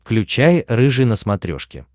включай рыжий на смотрешке